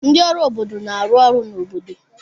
Ndị ọrụ obodo na-arụ ọrụ n'obodo.